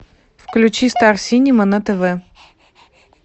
включи стар синема на тв